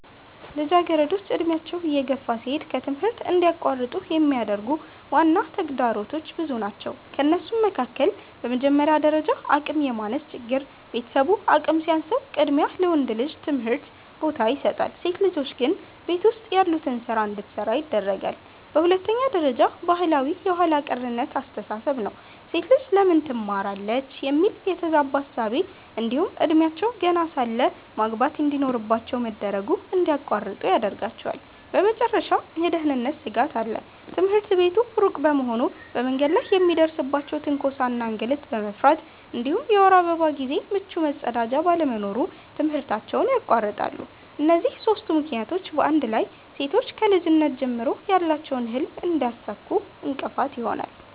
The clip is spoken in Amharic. ልጃገረዶች ዕድሜያቸው እየገፋ ሲሄድ ከትምህርት እንዲቋረጡ የሚያደርጉ ዋና ተግዳሮቶች ብዙ ናቸው ከእነሱም መካከል፦ በመጀመሪያ ደረጃ አቅም የማነስ ችግር፤ ቤተሰቡ አቅም ሲያንሰው ቅድሚያ ለወንድ ልጅ ትምህርት ቦታ ይሰጣል፣ ሴት ልጆች ግን ቤት ውስጥ ያሉትን ስራ እንድትሰራ ያደርጋለየ። በሁለተኛ ደረጃ ባህላዊ የኋላ ቀርነት አስተሳሰብ ነው፤ "ሴት ልጅ ለምን ትማራለች?" የሚል የተዛባ እሳቤ እንዲሁም እድሜያቸው ገና ሳለ ማግባት እንድኖርባቸው መደረጉ እንድያቋርጡ ይዳርጋቸዋል። በመጨረሻም የደህንነት ስጋት አለ፤ ትምህርት ቤቱ ሩቅ በመሆኑ በመንገድ ላይ የሚደርስባቸውን ትንኮሳ እና እንግልት በመፍራት እንዲሁም የወር አበባ ጊዜ ምቹ መጸዳጃ ባለመኖሩ ትምህርታቸውን ያቋርጣሉ። እነዚህ ሦስቱ ምክንያቶች በአንድ ላይ ሴቶች ከልጅነት ጀምሮ ያላቸውን ህልም እንዳያሳኩ እንቅፋት ይሆናሉ።